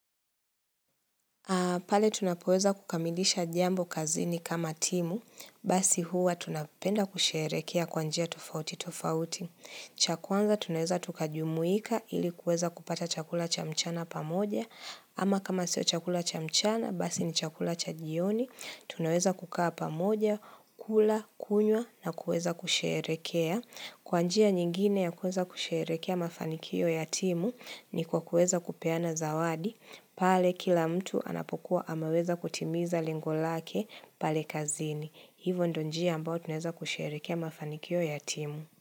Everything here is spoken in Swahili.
Pale tunapoweza kukamilisha jambo kazini kama timu, basi huwa tunapenda kusherehekea kwa njia tofauti tofauti. Cha kwanza tunaeza tukajumuika ili kueza kupata chakula cha mchana pamoja, ama kama sio chakula cha mchana, basi ni chakula cha jioni, tunaweza kukaa pamoja, kula, kunywa na kueza kusherekea. Kwa njia nyingine ya kueza kusherehekea mafanikio ya timu ni kwa kuweza kupeana zawadi. Pale kila mtu anapokuwa amaweza kutimiza lengo lake pale kazini. Hivo ndo njia ambao tunaeweza kusherekea mafanikio yatimu.